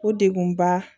O degun ba